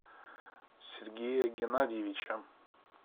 сергея геннадьевича